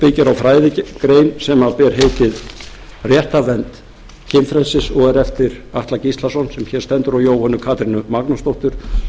á fræðigrein sem ber heitið réttarvernd kynfrelsis og er eftir eftir atla gíslason sem hér stendur og jóhönnu katrínu magnúsdóttur